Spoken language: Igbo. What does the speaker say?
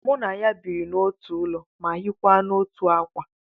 Mụ na ya biri n'otu ụlọ ma hiekwa n'otu ákwà